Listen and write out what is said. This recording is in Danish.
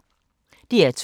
DR2